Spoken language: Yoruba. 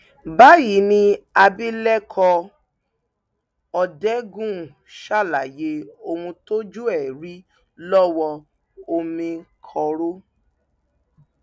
báyìí ni abilékọ òdengul ṣàlàyé ohun tójú ẹ rí lọwọ omìnkọrò